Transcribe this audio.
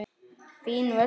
Fínn völlur.